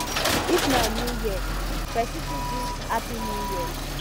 if na new year person fit greet happy new year